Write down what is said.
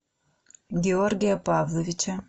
георгия павловича